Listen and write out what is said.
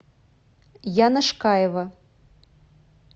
яна шкаева